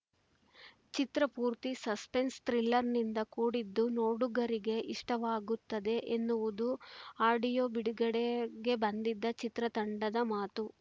ಚಿತ್ರ ಪೂರ್ತಿ ಸಸ್ಪೆನ್ಸ ಥ್ರಿಲ್ಲರ್‌ನಿಂದ ಕೂಡಿದ್ದು ನೋಡುಗರಿಗೆ ಇಷ್ಟವಾಗುತ್ತದೆ ಎನ್ನುವುದು ಆಡಿಯೋ ಬಿಡುಗಡೆಗೆ ಬಂದಿದ್ದ ಚಿತ್ರತಂಡದ ಮಾತು